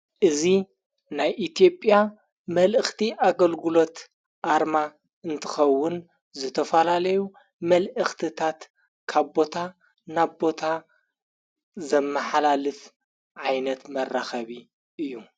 እዙ ናይ ኢትዮጵያ መልእኽቲ ኣገልግሎት ኣርማ እንትኸውን ዘተፈላለዩ መልእኽትታት ካቦታ ናቦታ ዘመኃላልት ዓይነት መራኸቢ እዩ::